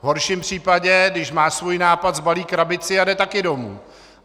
V horším případě, když má svůj nápad, sbalí krabici a jde taky domů.